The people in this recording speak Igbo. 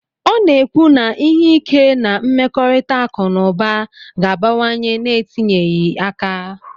ọ na-ekwu na ime ihe ike na mmekọrịta akụ na ụba ga-abawanye n'etinyeghị aka.